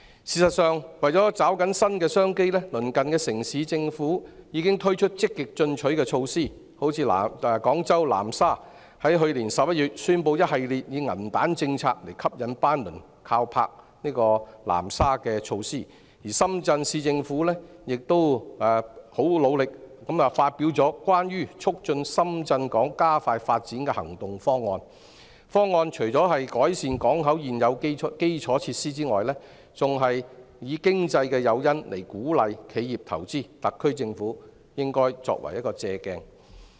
事實上，為了抓緊新的商機，鄰近城市的政府已推出積極進取的措施，例如廣州南沙在去年11月宣布一系列以銀彈政策吸引班輪靠泊南沙的措施，而深圳市政府亦很努力地發表《關於促進深圳港加快發展的行動方案》，方案除改善港口現有基礎設施外，還以經濟誘因鼓勵企業投資，特區政府應以此作為借鑒。